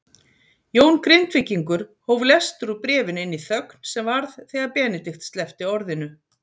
Jón Grindvíkingur hóf lestur úr bréfinu inn í þögn sem varð þegar Benedikt sleppti orðinu